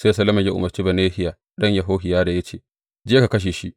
Sai Solomon ya umarci Benahiya ɗan Yehohiyada ya ce, Je ka kashe shi!